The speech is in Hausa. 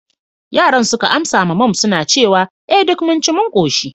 yaran suka amsa ma mum suna cewa, eh duk mun ci mun koshi